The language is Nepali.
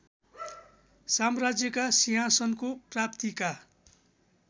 साम्राज्यका सिंहासनको प्राप्तिका